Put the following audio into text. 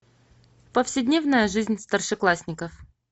повседневная жизнь старшеклассников